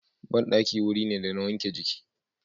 Banɗaki wuri ne da na wanke jiki.